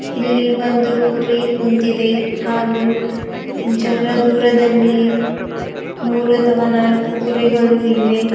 ಇಲ್ಲಿ ಒಂದು ಕುರಿ ಕುಂತಿದೆ ಹಾಗು ಜರ್ರ ದೂರದಲ್ಲಿ ಮೂರು ಅಥವ ನಾಲ್ಕು ಕುರಿಗಳು ಇವೆ.